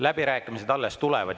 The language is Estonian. Läbirääkimised alles tulevad.